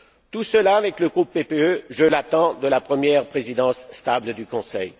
Tout cela, avec le groupe PPE, je l'attends de la première présidence stable du Conseil.